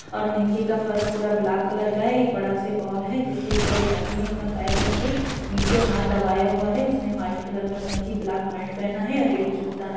और नीचे का फर्श पूरा ब्लाक कलर का है एक बड़ा सा बॉल है जिसके ऊपर एक आदमी अपना पैर रखके निचे हाथ दबाया हुआ है उसने व्हाइट कलर की गंजी ब्लाक पैंट पहना हुआ है रेड जूता है।